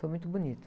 Foi muito bonito.